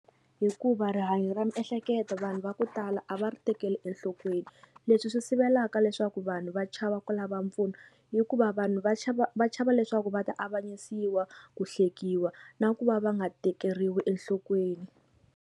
Hikuva rihanyo ra miehleketo vanhu va ku tala a va ri tekeli enhlokweni leswi swi sivelaka leswaku vanhu va chava ku lava mpfuno hikuva vanhu va chava va chava leswaku va ta avanyisiwa ku hlekiwa na ku va va nga tekeriwi enhlokweni.